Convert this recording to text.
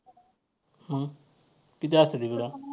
मग किती असत्यात इकडं?